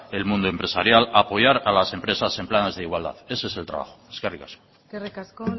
el mundo empresarial apoyar a las empresas en planes de igualdad ese es el trabajo eskerrik asko eskerrik asko